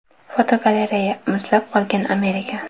Fotogalereya: Muzlab qolgan Amerika.